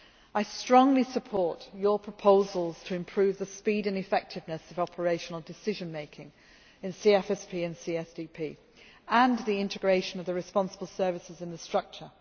I strongly support your proposals to improve the speed and effectiveness of operational decision making in CSFP and CSDP, and the integration of the responsible services in the structure.